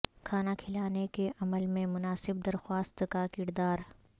کھانا کھلانے کے عمل میں مناسب درخواست کا کردار